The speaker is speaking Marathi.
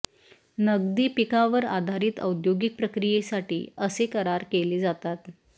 नगदी पिकावर आधारित औद्योगिक प्रक्रियेसाठी असे करार केले जातात